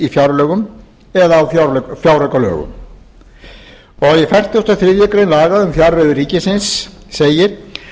fjárlögum eða fjáraukalögum í fertugustu og þriðju grein laga um fjárreiður ríkisins númer áttatíu og átta nítján hundruð níutíu og sjö segir